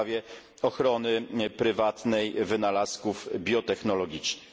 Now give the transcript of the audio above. w sprawie ochrony prywatnej wynalazków biotechnologicznych.